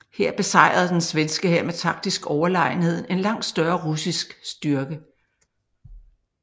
Her besejrede den svenske hær med taktisk overlegenhed en langt større russisk styrke